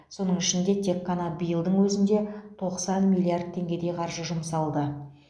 соның ішінде тек қана биылдың өзінде тоқсан миллиард теңгедей қаржы жұмсалды